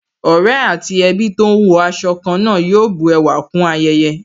Ọ̀rẹ́ àti ẹbí tó ń wọ aṣọ ká náà yóò bu ẹwà kún ayẹyẹ